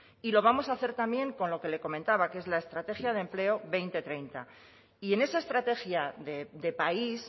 y lo vamos a hacer también con lo que le comentaba que es la estrategia de empleo dos mil treinta y en esa estrategia de país